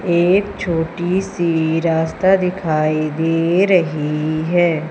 एक छोटी सी रास्ता दिखाई दे रही है।